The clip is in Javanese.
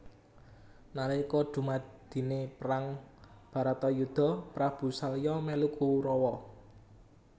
Nalika dumadine perang baratayuda Prabu salya melu Kurawa